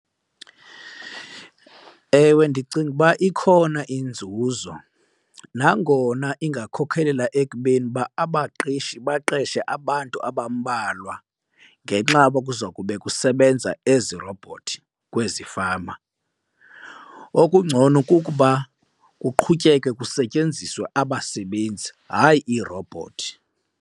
Ewe, ndicinga uba ikhona inzuzo nangona ingakhokhelela ekubeni uba abaqeshi baqeshe abantu abambalwa ngenxa yoba kuza kube kusebenza ezi robhothi kwezi fama. Okungcono kukuba kuqhutyekekwe kusetyenziswe abasebenzi, hayi iirobhothi.